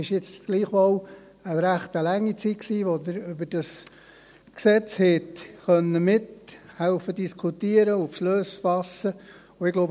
Es war jetzt doch eine recht lange Zeit, in der Sie über dieses Gesetz mitdiskutieren und Beschlüsse fassen konnten.